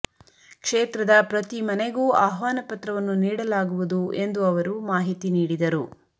ಕ್ಷೇತ್ರದ ಪ್ರತಿ ಮನೆಗೂ ಆಹ್ವಾನ ಪತ್ರವನ್ನು ನೀಡಲಾಗುವುದು ಎಂದು ಅವರು ಮಾಹಿತಿ ನೀಡಿದರು